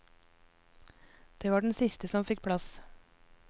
Det var den siste som fikk plass.